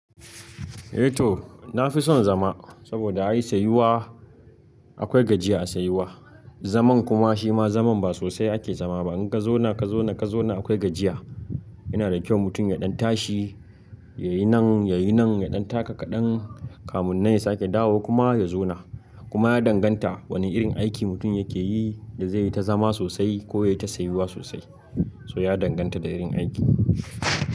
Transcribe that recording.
Eh to, na fi son zama saboda ai sayuwa akwai gajiya a sayuwa. Zaman kuma shima zaman ba sosai ake zama ba. In ka zauna ka zauna ka zauna akwai gajiya. Yana da kyau mutum ya ɗan tashi, yayi nan yayi nan ya ɗan taka kaɗan, kamun nesa ake dawo kuma ya zauna. Kuma ya danganta wane irin aiki mutum yake yi da zai yi ta zama sosai ko yayi ta sayuwa sosai. So ya danganta da irin aiki.